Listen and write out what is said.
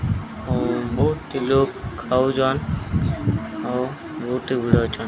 ବୋହୁଟି ଲୋକ୍ ଖାଉଜନ୍ ଆଉ ବୋହୁଟି ଭିଡ଼ ଅଛନ୍।